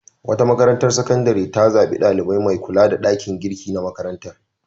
Wata makarantar sakandare ta zaɓi ɗalibai mai kula da ɗakin girki na makarantar.